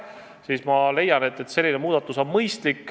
Nii et ma leian, et selline muudatus on arukas.